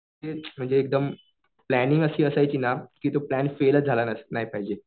तेच म्हणजे प्लॅनिंग अशी असायची ना कि तो प्लॅन फेलच झाला नाही पाहिजे.